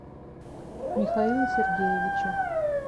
михаила сергеевича